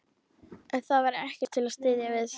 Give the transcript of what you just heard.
En það var ekkert til að styðjast við.